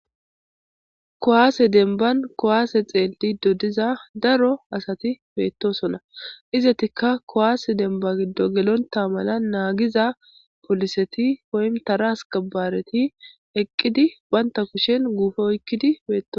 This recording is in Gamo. Kuwase dembani kuwase xeelido diza daro asati betosona. Izetika kuwase demba giddon gelonta mala nagiza poliseti woymi Tara askebareti eqidi banta kusheni guupe oykidi betosona.